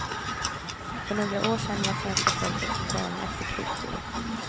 För några år sen var svenska folket som galna efter krukor.